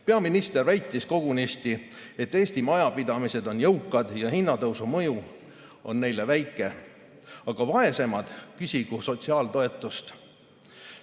Peaminister väitis kogunisti, et Eesti majapidamised on jõukad ja hinnatõusu mõju on neile väike, aga vaesemad küsigu sotsiaaltoetust.